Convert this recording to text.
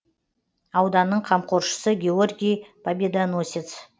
ауданның қамқоршысы георгий победоносец